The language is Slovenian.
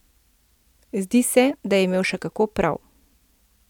Zdi se, da je imel še kako prav.